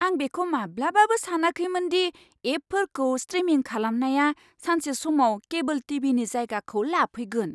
आं बेखौ माब्लाबाबो सानाखैमोन दि एपफोरखौ स्ट्रिमिं खालामनाया सानसे समाव केबोल टि.भि.नि जायगाखौ लाफैगोन!